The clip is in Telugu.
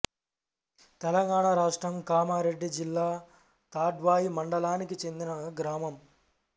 తెలంగాణ రాష్ట్రం కామారెడ్డి జిల్లా తాడ్వాయి మండలానికి చెందిన గ్రామం